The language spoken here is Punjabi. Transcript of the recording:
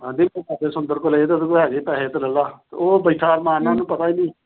ਸੁੰਦਰ ਤੋਂ ਲਏ ਤਾ ਤੂੰ ਹੈਗੇ ਪੈਸੇ, ਉਹਤੋਂ ਲੈ ਲਾ। ਉਹ ਬੈਠਾ। ਮੈਂ ਆਹਨਾ ਉਹਨਾਂ ਨੂੰ ਪਤਾ ਈ ਨੀ।